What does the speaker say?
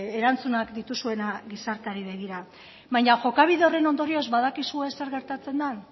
erantzunak dituzuenak gizarteari begira baina jokabide horren ondorioz badakizue zer gertatzen den